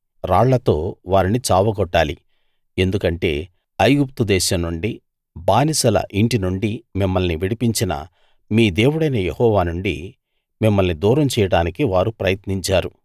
రాళ్లతో వారిని చావగొట్టాలి ఎందుకంటే ఐగుప్తు దేశం నుండి బానిసల ఇంటి నుండి మిమ్మల్ని విడిపించిన మీ దేవుడైన యెహోవా నుండి మిమ్మల్ని దూరం చేయడానికి వారు ప్రయత్నించారు